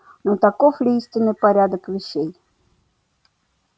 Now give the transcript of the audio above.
но таков ли истинный порядок вещей